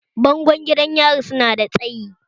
Bango gidan yari su na da tsayi